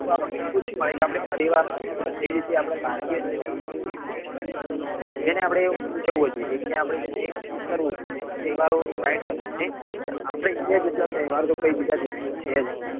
તો આપણને ખુશી મળે કે આપડે પરિવાર ને બધી રીતે ભારતીય રીતે રીતો છે જેને આપડે ઉજવવો જોઈએ કે આપડે જેને કરવો જોઈએ તહેઅરો right વસ્તુ છે આપડે india જેટલા તહેવાર તો કોઈ બીજા દેશ માં છે જ નહિ